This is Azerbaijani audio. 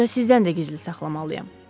Hətta sizdən də gizli saxlamalıyam.